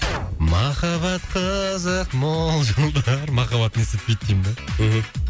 махаббат қызық мол жылдар махаббат не істетпейді деймін да мхм